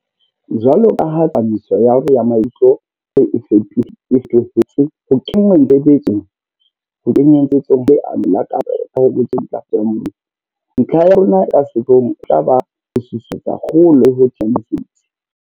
Jwalo ka ha tsepamiso ya rona ya maikutlo jwale e feto hetse ho kenngweng tshebe tsong ha Leano la Kahobotjha le Ntlafatso ya Moruo, ntlha ya rona e ka sehloohong e tla ba ho susumetsa kgolo le ho thea mesebetsi.